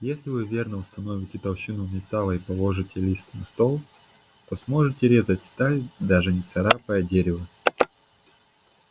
если вы верно установите толщину металла и положите лист на стол то сможете резать сталь даже не царапая дерева